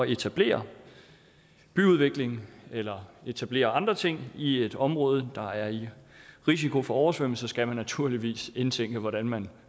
etablere byudvikling eller etablere andre ting i et område der er i risiko for oversvømmelse skal man naturligvis indtænke hvordan man